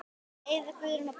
Eiður, Guðrún og börn.